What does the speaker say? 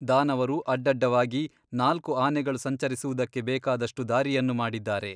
ದಾನವರು ಅಡ್ಡಡ್ಡವಾಗಿ ನಾಲ್ಕು ಆನೆಗಳು ಸಂಚರಿಸುವುದಕ್ಕೆ ಬೇಕಾದಷ್ಟು ದಾರಿಯನ್ನು ಮಾಡಿದ್ದಾರೆ.